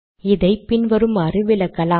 இதை பின் வருமாறு விளக்கலாம்